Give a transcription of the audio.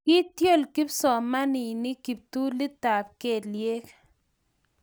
kiityol kipsomaninik kiptulitab kelyek